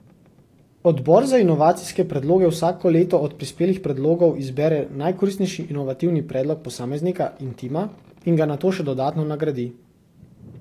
Odbor za inovacijske predloge vsako leto od prispelih predlogov izbere najkoristnejši inovativni predlog posameznika in tima in ga nato še dodatno nagradi.